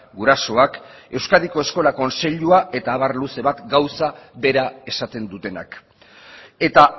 gurasoak euskadiko eskola kontseiluak eta abar luze bat gauza bera esaten dutenak eta